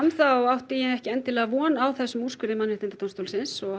þá átti ég ekki endilega von á þessum úrskurði Mannréttindadómstólsins og